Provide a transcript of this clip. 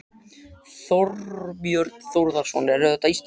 Þorbjörn Þórðarson: Eru þetta Íslendingar?